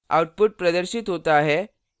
output प्रदर्शित होता है: